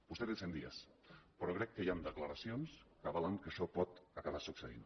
vostè té cent dies però crec que hi han declaracions que avalen que això pot acabar succeint